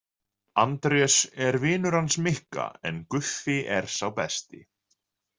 Andrés er vinur hans Mikka en Guffi er sá besti.